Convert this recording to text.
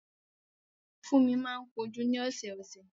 Fúnmi máa ń ko jú ni ọ̀sọ̀ọ̀sẹ̀